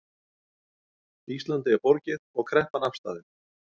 Íslandi er borgið og kreppan afstaðin